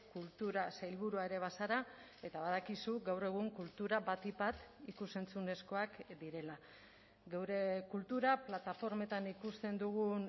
kultura sailburua ere bazara eta badakizu gaur egun kultura batik bat ikus entzunezkoak direla geure kultura plataformetan ikusten dugun